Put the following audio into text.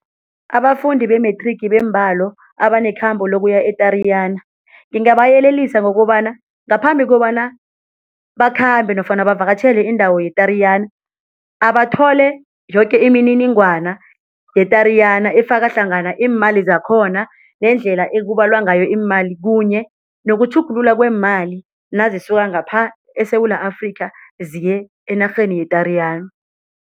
Abafundi be-Matric beembalo abanekhambo lokuya e-Tariyana ngingabayelelisa ngokobana ngaphambi kobana bakhambe nofana bavakatjhele indawo ye-Tariyana, abathole yoke imininingwana ye-Tariyana efaka hlangana iimali zakhona nendlela ekubalwa ngayo iimali kunye nokutjhugulula kweemali nazisuka ngapha eSewula Afrika ziye enarheni ye-Tariyana.